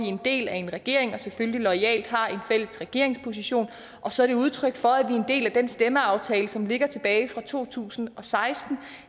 en del af en regering og selvfølgelig loyalt har en fælles regeringsposition og så er det udtryk for at vi er en del af den stemmeaftale som ligger tilbage fra to tusind og seksten